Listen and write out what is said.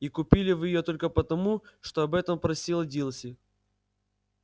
и купили вы её только потому что об этом просила дилси